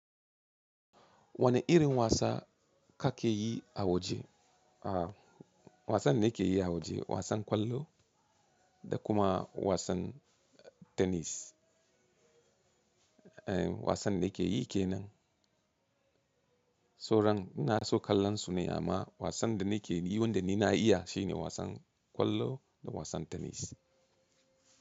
Wane irin wasa kake yi a waje? A wasan da nake yi a waje wasan ƙwallo da kuma wasan tenis. Eh wasan da nake yi kenan. So ran ina so kallon su ne amma wasan da nake yi wanda ni na iya shine wasan ƙwallo da wasan tenis.